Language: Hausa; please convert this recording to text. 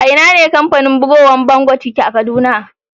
A'ina ne kamfanin bugowan vanguard yake a Kaduna?